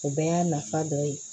O bɛɛ y'a nafa dɔ ye